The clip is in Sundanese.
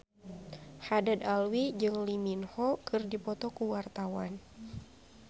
Haddad Alwi jeung Lee Min Ho keur dipoto ku wartawan